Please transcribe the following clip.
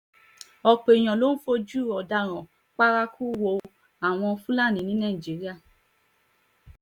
ọ̀pọ̀ èèyàn ló ń fojú ọ̀daràn paraku wo àwa fúlàní ní nàìjíra